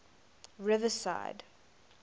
riverside